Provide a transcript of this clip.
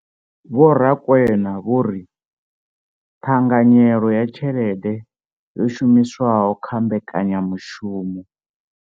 Vho Rakwena vho ri ṱhanganyelo ya tshelede yo shumiswaho kha mbekanyamushumo.